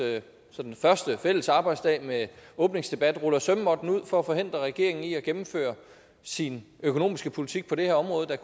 første fælles arbejdsdag med åbningsdebatten ruller sømmåtten ud for at forhindre regeringen i at gennemføre sin økonomiske politik på det her område